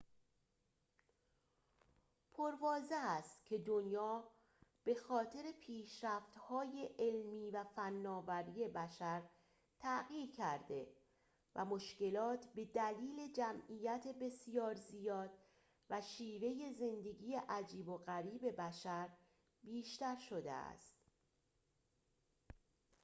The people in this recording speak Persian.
پرواضح است که دنیا به‌خاطر پیشرفت‌های علمی و فناوری بشر تغییر کرده و مشکلات به دلیل جمعیت بسیار زیاد و شیوه زندگی عجیب و غریب بشر بیشتر شده است